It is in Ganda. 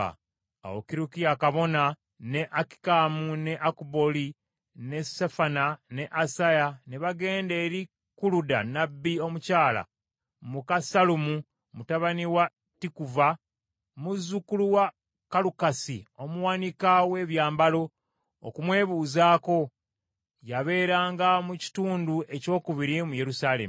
Awo Kirukiya kabona, ne Akikamu, ne Akubooli, ne Safani, ne Asaya ne bagenda eri Kuluda nnabbi omukyala muka Sallumu mutabani wa Tikuva muzzukulu wa Kalukasi omuwanika w’ebyambalo, okumwebuuzaako. Yabeeranga mu kitundu ekyokubiri mu Yerusaalemi.